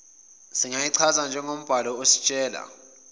singayichaza njengombhalo ositshela